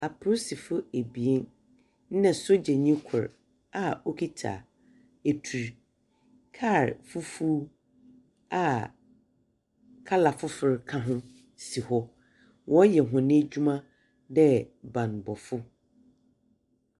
Apolisifo abien na sogyanyi kor a wokita etur. Kar fufuw a colour fofor ka ho si hɔ. Wɔreyɛ hɔn adwuma dɛ bambɔfo.